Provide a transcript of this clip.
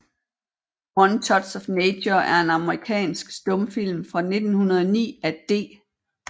One Touch of Nature er en amerikansk stumfilm fra 1909 af D